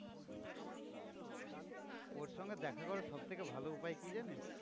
ওর সঙ্গে দেখা করার সবথেকে ভালো উপায় কি জানিস?